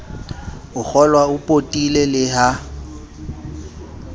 a kgolwao potile le ha